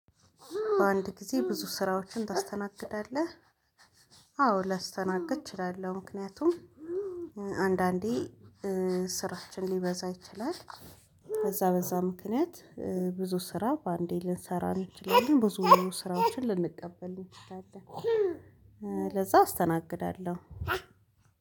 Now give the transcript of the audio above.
በአንድ ጊዜ ብዙ ስራዎችን ታስተናግዳለህ? አዎ ላስተናግድ እችላለሁ ምክንያቱም አንዳንዴ ስራችን ሊበዛ ይችላል። ከዛ በዛ ምክንያት ብዙ ስራ በአንዴ ልንሰራ እንችላለን ብዙ ስራዎችን ልንቀበል እንችላለን። ለዛ አስተናግዳለሁ።